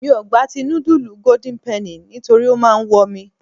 Mi ò gba ti nudulu golden penny nítorí ó máa ń wọ mi.